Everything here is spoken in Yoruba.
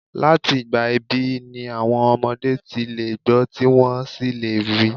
Láti ìgbà ìbí ni àwọn ọmọdé ti lè gbọ́ tí wọ́n sì lè rí.